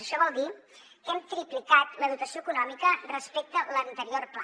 això vol dir que hem triplicat la dotació econòmica respecte a l’anterior pla